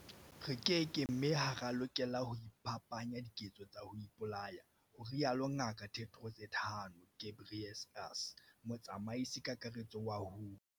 "Re keke mme ha re a lokela ho iphapanya diketso tsa ho ipolaya," ho rialo Ngaka Tedros Adhano m Ghebreyesus, Motsamaisi-Kakaretso wa WHO.